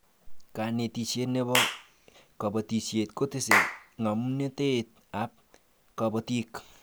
kanetishiet nebo kabatishiet kotese ngamnatet ab kabatik